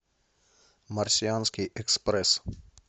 марсианский экспресс